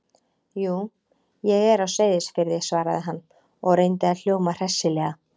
Jú, ég er á Seyðisfirði- svaraði hann og reyndi að hljóma hressilega.